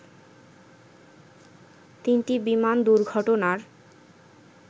তিনটি বিমান দুর্ঘটনার